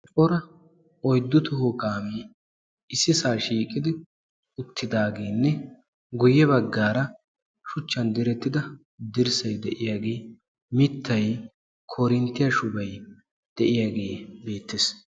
coraa oyddu toho kaame ississa shiiqidi uttidaagenne guyye baggaara sguchchan direttida dirssay de'iyaage mittay, koorinttiya shubay diyaage beettees.